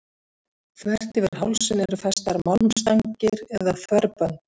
Þvert yfir hálsinn eru festar málmstangir eða þverbönd.